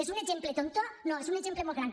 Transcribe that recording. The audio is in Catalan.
és un exemple tonto no és un exemple molt gran